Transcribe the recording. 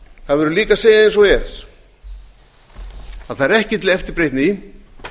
það verður líka að segja eins og er að það er ekki til eftirbreytni